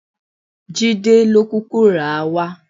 Jídé ló kúkú rà á wá.